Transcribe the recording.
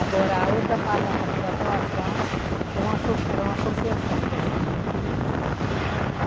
Agora a outra parte lá, para chegar até o asfalto, é uma associ, era uma associação que a gente tinha aqui.